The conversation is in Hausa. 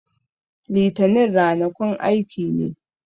Litanin rana kun aiki ne